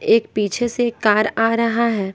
एक पीछे से कार आ रहा है।